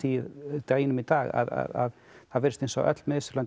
deginum í dag að það virðist eins og öll Mið Austurlönd